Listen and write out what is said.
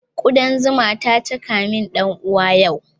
Kudan zuma ta caka min ɗan uwana yau